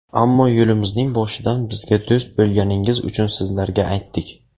Ammo yo‘limizning boshidan bizga do‘st bo‘lganingiz uchun sizlarga aytdik.